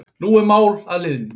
En nú er mál að linni